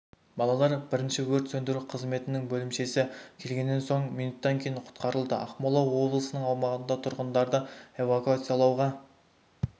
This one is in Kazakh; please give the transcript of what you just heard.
балалар бірінші өрт сөндіру қызметінің бөлімшесі келгеннен соң минуттан кейін құтқарылды ақмола облысының аумағында тұрғындарды эвакуациялауға